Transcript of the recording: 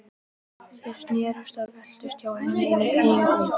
Þeir snerust og veltust hjá henni inni í hringnum.